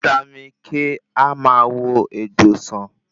Vítámì K a máa wo egbò san